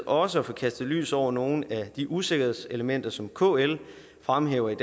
også at få kastet lys over nogle af de usikkerhedselementer som kl fremhæver i